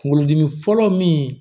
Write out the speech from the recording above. Kunkolodimi fɔlɔ min